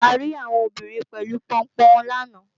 A rí àwọn obìnrin pẹ̀lú Pọnpọ́n wọn làná